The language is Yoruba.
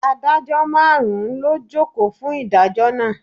Adájọ́ márùn-ún ló jókòó fún ìdájọ́ náà.